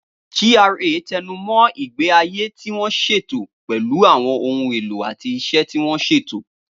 GRA tẹnu mọ́ ìgbé ayé tí wọ́n ṣètò pẹ̀lú àwọn ohun èlò àti iṣẹ́ tí wọ́n ṣètò.